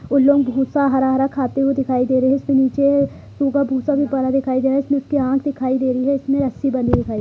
उ लोग भूसा हरा-हरा खाते हुए दिखाई दे रहें हैं जिसपे नीचे सूखा-भूसा भी पड़ा दिखाई दे रहा है इसमें इसकी आँख दिखाई दे रही हैं इसमें रस्सी बंधी हुई दिखाई--